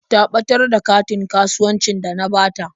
Ta ɓatar da katin kasuwancin da na bata.